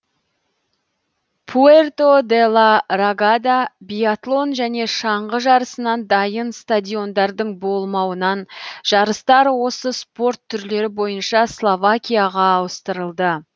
пуэрто де ла рагада биатлон және шаңғы жарысынан дайын стадиондардың болмауынан жарыстар осы спорт түрлері бойынша словакияға ауыстырылды